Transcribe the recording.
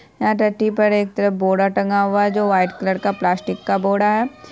यहाँ टटी पर एक तरफ बोरा टंगा हुआ है जो व्हाइट कलर का प्लास्टिक का बोरा है।